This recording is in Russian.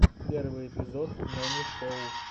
первый эпизод нонишоу